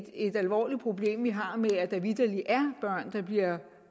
et alvorligt problem vi har med at der vitterlig er børn der bliver